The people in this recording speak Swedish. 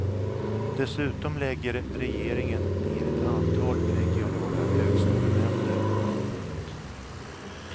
Dessutom lägger regeringen ner ett antal regionala högskolenämnder. punkt